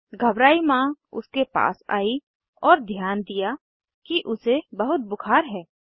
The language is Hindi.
घबराई माँ उसके पास आई और ध्यान दिया कि उसे बहुत बुखार है